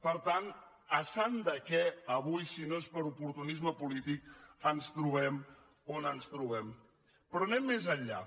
per tant a sant de què avui si no és per oportunisme polític ens trobem on ens trobem però anem més enllà